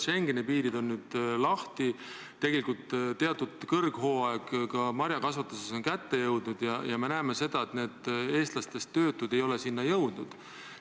Schengeni piirid on nüüd lahti, tegelikult on kõrghooaeg ka marjakasvatuses kätte jõudnud ja me näeme, et need eestlastest töötud ei ole sinna jõudnud.